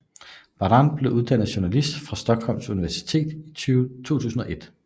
Baran blev uddannet jurist fra Stockholms Universitet i 2001